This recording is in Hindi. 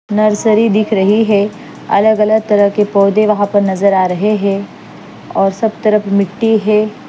नर्सरी दिख रही है अगल अलग तरह के पौधे वहां पर नज़र आ रहे हैं और सब तरफ मिट्टी है।